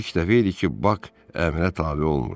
İlk dəfə idi ki, Bak əmrə tabe olmurdu.